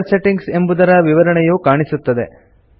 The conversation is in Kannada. ಕಲರ್ ಸೆಟ್ಟಿಂಗ್ಸ್ ಎಂಬುದರ ವಿವರಣೆಯು ಕಾಣಿಸುತ್ತದೆ